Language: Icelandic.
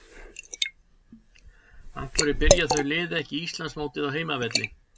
Af hverju byrja þau lið ekki Íslandsmótið á heimavelli?